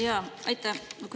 Jaa, aitäh!